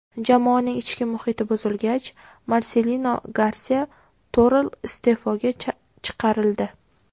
Jamoaning ichki muhiti buzilgach, Marselino Garsiya Toral iste’foga chiqarildi.